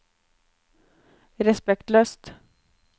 respektløst